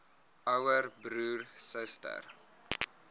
ouer broer suster